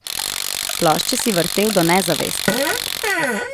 Plošče si vrtel do nezavesti.